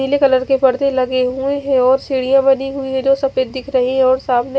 पीले कलर के पर्दे लगे हुए है और सीडिया बनी हुई है जो सफेद दिख रही है और सामने--